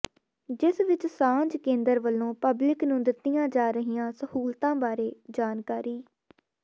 ਜਿਸ ਵਿਚ ਸਾਂਝ ਕੇਂਦਰ ਵੱਲੋਂ ਪਬਲਿਕ ਨੂੰ ਦਿੱਤੀਆਂ ਜਾ ਰਹੀਆਂ ਸਹੂਲਤਾਂ ਬਾਰੇ ਜਾਣਕਾਰੀ